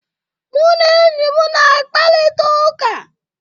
Mụ na enyi m na-akparịta ụka.